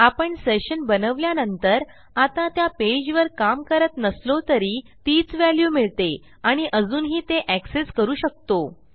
आपण सेशन बनवल्या नंतर आता त्या पेजवर काम करत नसलो तरी तीच व्हॅल्यू मिळते आणि अजूनही ते एक्सेस करू शकतो